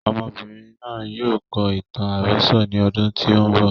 Ọmọbìnrin náà yóò kọ ìtàn àròsọ ní ọdún tí o ń bọ̀.